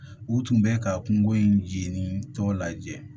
U tun bɛ ka kungo in jeni tɔ lajɛ